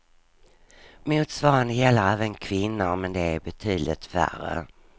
Motsvarande gäller även kvinnor men de är betydligt färre.